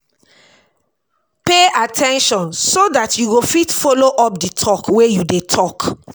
pay at ten tion so dat you go fit follow up di talk wey you dey talk